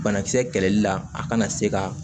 Banakisɛ kɛlɛli la a kana se ka